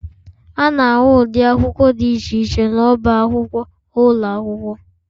A na-ahụ ụdị akwụkwọ dị iche iche n'ọba akwụkwọ ụlọ akwụkwọ